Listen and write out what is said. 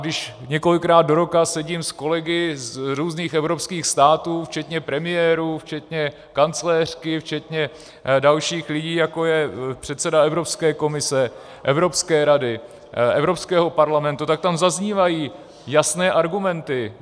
Když několikrát do roka sedím s kolegy z různých evropských států, včetně premiérů, včetně kancléřky, včetně dalších lidí, jako je předseda Evropské komise, Evropské rady, Evropského parlamentu, tak tam zaznívají jasné argumenty.